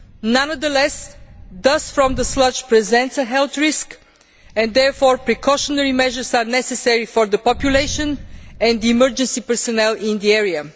Nonetheless, dust from the sludge presents a health risk and therefore, precautionary measures are necessary for the population and the emergency personnel in the area.